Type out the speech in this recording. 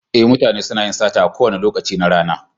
Ee, mutane suna yin sata a kowane lokaci na rana.